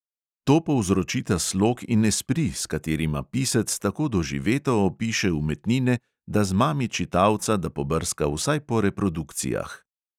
To povzročita slog in espri, s katerima pisec tako doživeto opiše umetnine, da zmami čitalca, da pobrska vsaj po reprodukcijah.